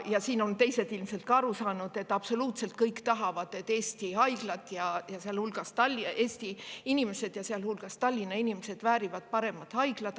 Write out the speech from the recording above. Ja siin on ka teised ilmselt aru saanud, et absoluutselt kõik, et Eesti inimesed, sealhulgas Tallinna inimesed, väärivad paremat haiglat.